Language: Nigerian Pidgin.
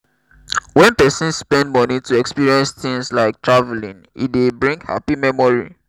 when person spend money to experience things like travelling e dey bring happy memory